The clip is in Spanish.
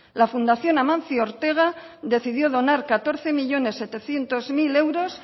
la fundación amancio ortega decidió donar catorce millónes setecientos mil euros